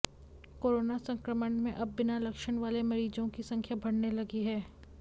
corona संक्रमण में अब बिना लक्षण वाले मरीजों की संख्या बढ़ने लगी है